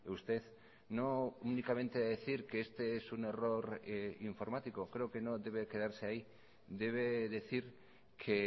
usted no únicamente a decir que este es un error informático creo que no debe quedarse ahí debe decir que